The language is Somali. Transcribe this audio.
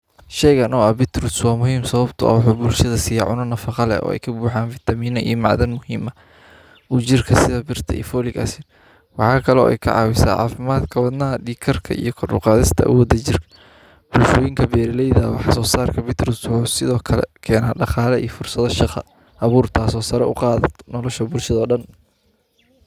Sheeyga noocan beetroot su aad muhiim sababtoo ah ugu bulshada siya cuno nafaqo leh oo ay ka buuxaan cs]vitamin macadan muhiima u jirka sida birta iyo folic acid. Waxaa kaloo ay ka caawisaa caafimaad kabadhna, dhiig karka iyo qaruq aadasta ugu dajir. Bulshooyinka beerilaa waxa ah soo saar ka beetroot su'aad sidoo kale keena dhaqaala iyo fursado shaqo abuurta soo sar u qaado nolosha bulshada dhan.